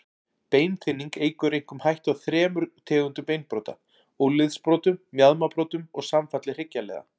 Beinþynning eykur einkum hættu á þremur tegundum beinbrota, úlnliðsbrotum, mjaðmarbrotum og samfalli hryggjarliða.